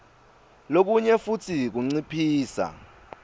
kulokunye futsi kunciphisa